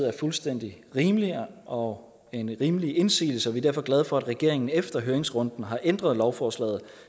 er fuldstændig rimeligt og en rimelig indsigelse og vi er derfor glade for at regeringen efter høringsrunden har ændret lovforslaget